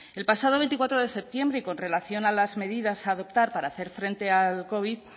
el pasado veinticuatro de septiembre y con relación a las medidas a adoptar para hacer frente al covid